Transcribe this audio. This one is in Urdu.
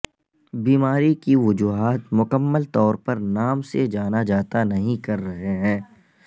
بیماری کی وجوہات مکمل طور پر نام سے جانا جاتا نہیں کر رہے ہیں